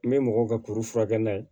N bɛ mɔgɔw ka kuru furakɛ n'a ye